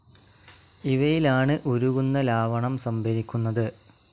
ഇവയിലാണ് ഉരുകുന്ന ലാവണം സംഭരിക്കുന്നത്.